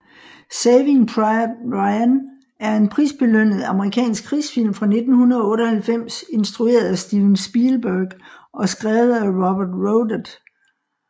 Saving Private Ryan er en prisbelønnet amerikansk krigsfilm fra 1998 instrueret af Steven Spielberg og skrevet af Robert Rodat